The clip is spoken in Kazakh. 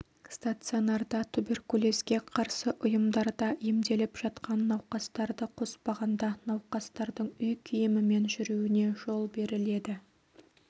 стационарда туберкулезге қарсы ұйымдарда емделіп жатқан науқастарды қоспағанда науқастардың үй киімімен жүруіне жол беріледі